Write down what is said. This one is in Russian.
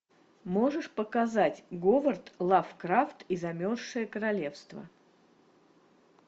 можешь показать говард лавкрафт и замерзшее королевство